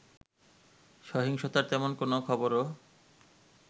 সহিংসতার তেমন কোনো খবরও